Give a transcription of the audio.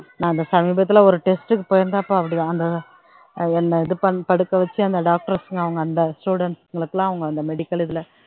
நான் அந்த சமீபத்துல ஒரு test க்கு போயிருந்தப்போ அப்படிதான் அந்த ஆஹ் என்னை இது பண்ணி படுக்க வச்சு அந்த doctors ங்க அவங்க அந்த students ங்களுக்கெல்லாம் அவங்க அந்த medical இதுல